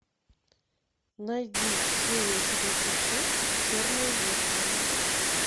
найди серия тридцать шесть черное зеркало